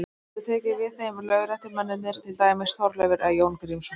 Þeir geta tekið við þeim lögréttumennirnir, til dæmis Þorleifur eða Jón Grímsson.